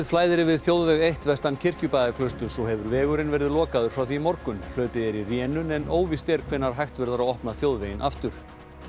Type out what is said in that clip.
flæðir yfir þjóðveg eitt vestan Kirkjubæjarklausturs og hefur vegurinn verið lokaður frá því í morgun hlaupið er í rénun en óvíst er hvenær hægt verður að opna þjóðveginn aftur